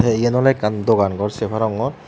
te yan ole ekkan dogan gor se parongor.